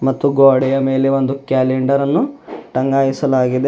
ಮತ್ತು ಗೋಡೆಯ ಮೇಲೆ ಒಂದು ಕ್ಯಾಲೆಂಡರ್ ಅನ್ನು ಟಂಗಾಯಿಸಲಾಗಿದೆ.